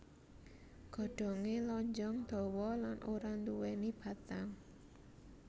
Godhongé lonjong dawa lan ora nduwèni batang